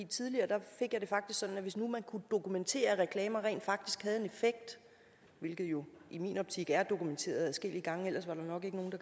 tidligere fik det sådan at hvis nu det kunne dokumenteres at reklamer rent faktisk havde en effekt hvilket jo i min optik er dokumenteret adskillige gange ellers var der nok ikke nogen